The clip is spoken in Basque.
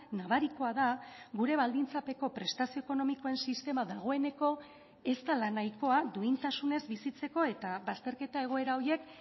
nabarikoa da gure baldintzapeko prestazio ekonomikoen sistema dagoeneko ez dela nahikoa duintasunez bizitzeko eta bazterketa egoera horiek